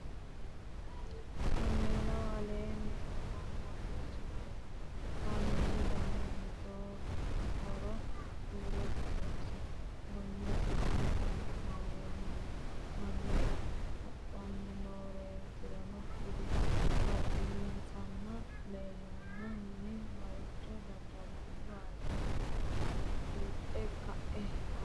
cameelaho aleenni hoggonboonirichi maati? cameelu danni hiitohoro kuulassi xawisi? gonnesira me'u cameeli no? mamira hadhanni nooreetirono kuli? badheensaanni leelanno minni maricho dadalanniwaatiri buuxe ka'e xawisha uyi?